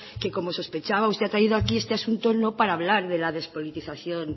que como sospechaba usted ha traído aquí este asunto no para hablar de la despolitización